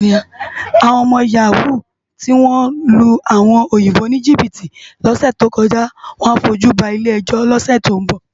Awòn òmò yàwú tiwón lú áwòn óyinbó nijibiti lòsè tókòjá á fójú bá ilé èjó lòsè tó n bò